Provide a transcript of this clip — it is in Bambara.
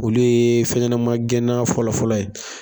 Olu ye fɛnɲɛnɛma gɛnna fɔlɔ fɔlɔ ye.